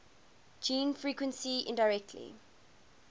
gene frequency indirectly